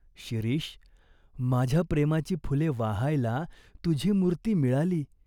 शिरीष, माझ्या प्रेमाची फुले वाहायला तुझी मूर्ती मिळाली.